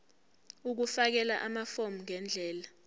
ukufakela amafomu ngendlela